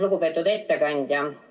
Lugupeetud ettekandja!